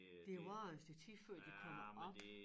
Det varer jo et stykke tid før de kommer op